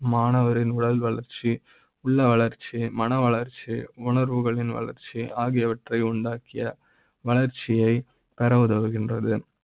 மாணவ ரின் உடல் வளர்ச்சி உள்ள வளர்ச்சி , மன வளர்ச்சி, உணர்வுகளின், வளர்ச்சி ஆகியவற்றை உண்டாக்கிய வளர்ச்சி யை பெற உதவுகின்றது